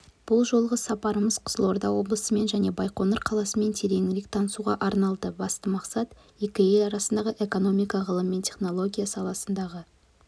бұл жолғы сапарымыз қызылорда облысымен және байқоңыр қаласымен тереңірек танысуға арналды басты мақсат екі ел арасындағы экономика ғылым және технология саласындағы